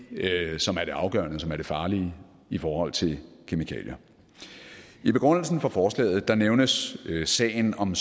som er det afgørende og som er det farlige i forhold til kemikalier i begrundelsen for forslaget nævnes sagen om